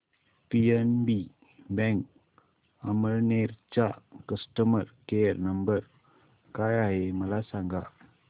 PNB bank Amalner चा customer care number काय आहे मला सांगा